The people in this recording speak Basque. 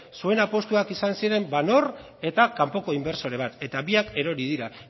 zuen apustuak izan ziren van oord eta kanpoko inbertsore bat eta biak erori dira